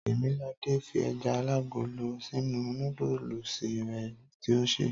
Tèmiladé fi ẹja alágolo sínú núdùsì rẹ̀ tí o sè.